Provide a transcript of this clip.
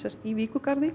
í